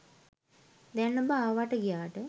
දැන් ඔබ ආවාට ගියාට